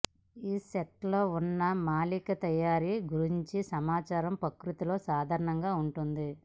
ఈ సైట్లో ఉన్న మూలికా తయారీ గురించి సమాచారం ప్రకృతిలో సాధారణంగా ఉంటుంది